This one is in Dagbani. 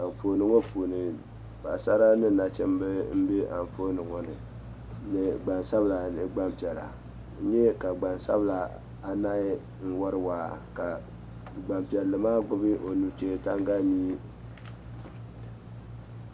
Anfooni ŋɔ puuni paɣisara ni nachimba m-be anfooni ŋɔ ni ni gbansabila ni gbampiɛla. N nya ka gbansabila anahi n-wari waa ka gbampiɛlli maa gbibi o nuchee taŋgalimia.